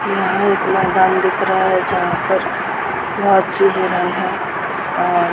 यहाँ एक मैदान दिख रहा है जहाँ पर बहोत सी है और --